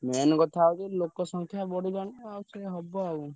Main କଥା ହଉଛି ଲୋକ ସଂଖ୍ୟା ବଢିଲାଣି ଆଉ ସେୟା ହବ ଆଉ।